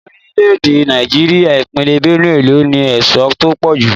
Ní orílẹ̀-èdè Nàìjíríà, ìpínlè Benue ló ní èso tó pọ̀ jù.